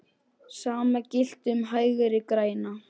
Sama gilti um Hægri græna.